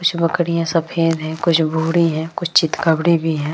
कुछ बकरियां सफेद है कुछ भूरी है कुछ चितकवरी भी है |